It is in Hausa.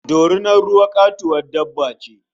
Dorinar ruwa katuwar dabba ce